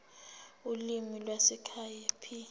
ulimi lwasekhaya p